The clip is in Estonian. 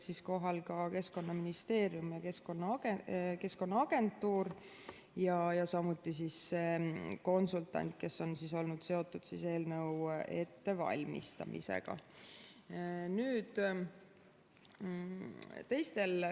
Kohal olid Keskkonnaministeeriumi ja Keskkonnaagentuuri ja samuti konsultant, kes on olnud seotud eelnõu ettevalmistamisega.